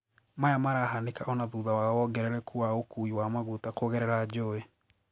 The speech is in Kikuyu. Maya marahanika ona thutha wa wongerereku wa ukuwi wa maguta kugerera njowe.